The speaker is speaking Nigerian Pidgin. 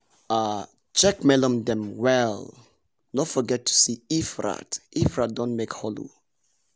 um check melon dem well no forget to see if rat if rat don make hole o!